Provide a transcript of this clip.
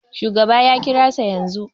Shugaba ya kirasa yanzu